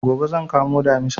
Gobe zan kamo Damisa